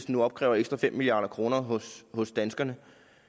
nu opkræver ekstra fem milliard kroner hos hos danskerne